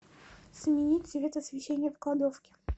сменить цвет освещение в кладовке